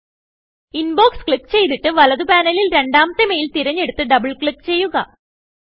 inbox click ചെയ്തിട്ട് വലതു പാനലിൽ രണ്ടാമത്തെ മെയിൽ തിരഞ്ഞെടുത്ത് ഡബിൾ ക്ലിക്ക് ചെയ്യുക